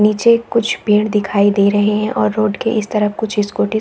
निचे कुछ पेड़ दिखाई दे रहै है और रोड के इस तरफ कुछ स्कूटिस --